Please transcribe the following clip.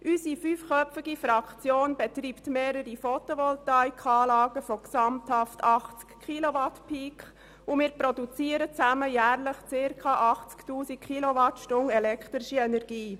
Unsere fünfköpfige Fraktion betreibt mehrere Photovoltaikanlagen von insgesamt 80 Kilowatt Peak, und wir produzieren zusammen jährlich rund 80 000 Kilowattstunden elektrische Energie.